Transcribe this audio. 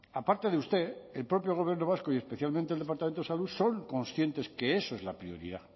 aparte de usted el propio gobierno vasco y especialmente el departamento de salud son conscientes que eso es la prioridad